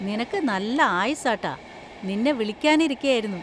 നിനക്ക് നല്ല ആയുസ്സാട്ടാ, നിന്നെ വിളിക്കാൻ ഇരിക്കയായിരുന്നു.